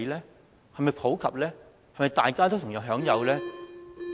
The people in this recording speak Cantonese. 這是否普及，是否大家都同樣享有呢？